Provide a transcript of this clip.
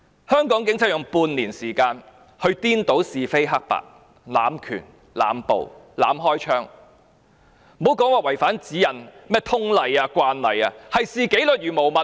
香港警察用半年時間去顛倒是非黑白、濫權、濫捕、濫開槍，莫說違反指引、通例、慣例，簡直是視紀律如無物。